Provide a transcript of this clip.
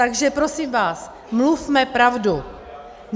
Takže prosím vás, mluvme pravdu.